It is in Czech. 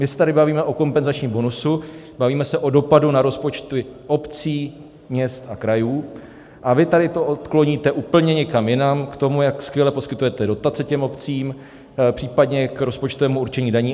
My se tady bavíme o kompenzačním bonusu, bavíme se o dopadu na rozpočty obcí, měst a krajů, a vy tady to odkloníte úplně někam jinam, k tomu, jak skvěle poskytujete dotace těm obcím, případně k rozpočtovému určení daní.